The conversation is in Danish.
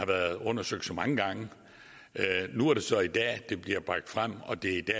været undersøgt så mange gange nu er det så i dag det bliver bragt frem og det